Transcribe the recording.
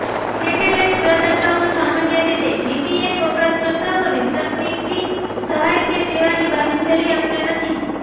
satellite પ્રદાતાઓ સામાન્ય રીતે વીપીએન વપરાશકર્તાઓને તકનીકી સહાય કે સેવાની બાંયધરી આપતા નથી